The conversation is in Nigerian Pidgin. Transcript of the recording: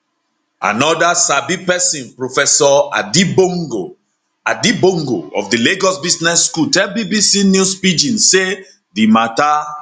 anoda sabi pesin professor adi bongo adi bongo of di lagos business school tell bbc news pidgin say di mata